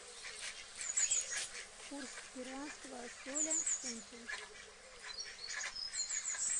курс перуанского соля к фунту